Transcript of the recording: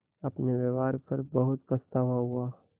अपने व्यवहार पर बहुत पछतावा हुआ